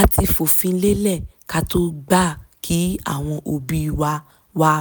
a ti fòfin lélẹ̀ ká tó gbà kí àwọn òbí wa wá